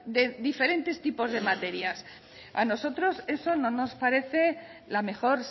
de diferentes tipos de materias a nosotros eso no nos parece la mejor